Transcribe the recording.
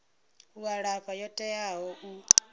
u alafha yo teaho u